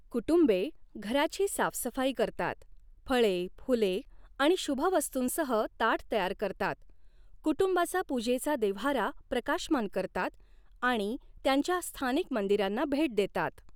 कुटुंबे घराची साफसफाई करतात, फळे, फुले आणि शुभ वस्तूंसह ताट तयार करतात, कुटुंबाचा पुजेचा देव्हारा प्रकाशमान करतात आणि त्यांच्या स्थानिक मंदिरांना भेट देतात.